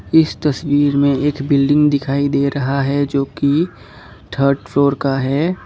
इस तस्वीर में एक बिल्डिंग दिखाई दे रहा है जो कि थर्ड फ्लोर का है।